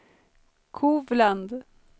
Kovland